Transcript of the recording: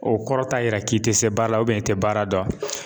O kɔrɔ t'a yira k'i tɛ se baara la i tɛ baara dɔn